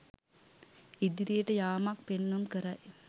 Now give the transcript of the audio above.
ඉදිරියට යාමක් පෙන්නුම් කරයි.